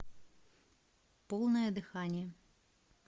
полное дыхание